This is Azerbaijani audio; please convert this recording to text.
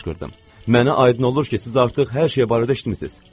Mənə aydın olur ki, siz artıq hər şey barədə eşitmisiz.